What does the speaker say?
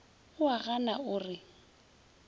o a gana o re